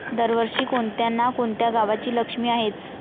दरवर्षी कोणत्या ना कोणत्या गावाची लक्ष्मी आहेच.